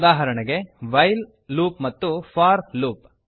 ಉದಾಹರಣೆಗೆ while loop ಮತ್ತು for loop